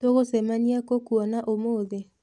Tũgũcemania kũ kuona ũmũthĩ?